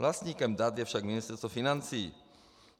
Vlastníkem dat je však Ministerstvo financí.